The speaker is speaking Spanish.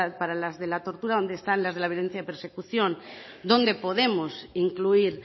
para las de la tortura dónde están las de la violencia de persecución dónde podemos incluir